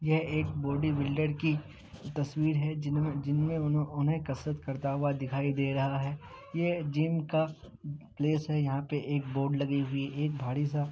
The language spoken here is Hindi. यह एक बॉडी बिल्डर की तस्वीर है जिनमे उन्हे कसरत करता हुआ दिखाई दे रहा है ये जिम का प्लेस है यहां पे एक बोर्ड लगी हुई एक भाड़ी सा --